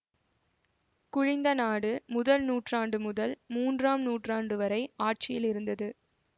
குலிந்த நாடு முதல் நூற்றாண்டு முதல் மூன்றாம் நூற்றாண்டு வரை ஆட்சியில் இருந்தது